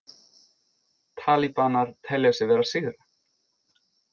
Talibanar telja sig vera að sigra